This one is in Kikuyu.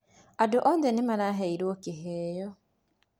Andũ othe nĩmaraheirũo kĩheo